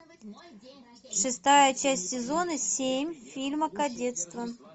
шестая часть сезона семь фильма кадетство